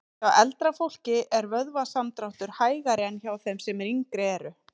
Hjá eldra fólki er vöðvasamdráttur hægari en hjá þeim sem yngri eru.